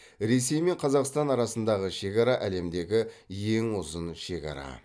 ресей мен қазақстан арасындағы шекара әлемдегі ең ұзын шекара